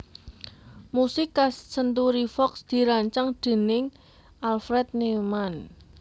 Musik khas Century Fox dirancang déning Alfred Newman